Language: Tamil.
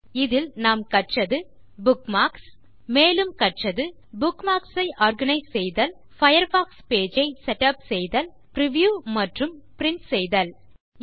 இந்த டியூட்டோரியல் ல் நாம் கற்றது Bookmarks மேலும் கற்றது புக்மார்க்ஸ் ஐ ஆர்கனைஸ் செய்தல் பயர்ஃபாக்ஸ் பேஜ் ஐ செட்டப் செய்தல் பிரிவ்யூ மற்றும் பிரின்ட் செய்தல்